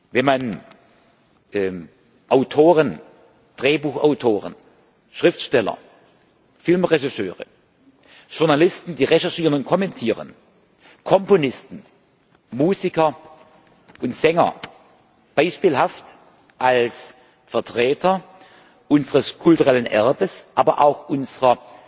Wenn man Autoren, Drehbuchautoren, Schriftsteller, Filmregisseure, Journalisten, die recherchieren und kommentieren, Komponisten, Musiker und Sänger beispielhaft als Vertreter unseres kulturellen Erbes, aber auch unserer